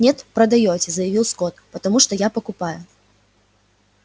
нет продаёте заявил скотт потому что я покупаю